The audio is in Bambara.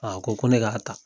A ko ko ne k' ta.